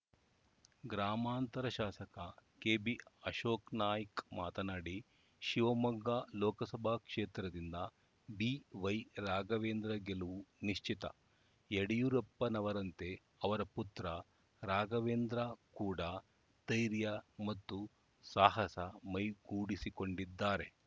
ಗ್ರಾಮಾಂತರ ಶಾಸಕ ಕೆಬಿ ಅಶೋಕ್‌ನಾಯ್ಕ ಮಾತನಾಡಿ ಶಿವಮೊಗ್ಗ ಲೋಕಸಭಾ ಕ್ಷೇತ್ರದಿಂದ ಬಿವೈ ರಾಘವೇಂದ್ರ ಗೆಲುವು ನಿಶ್ಚಿತ ಯಡಿಯೂರಪ್ಪನವರಂತೆ ಅವರ ಪುತ್ರ ರಾಘವೇಂದ್ರ ಕೂಡಾ ಧೈರ್ಯ ಮತ್ತು ಸಾಹಸ ಮೈಗೂಡಿಸಿಕೊಂಡಿದ್ದಾರೆ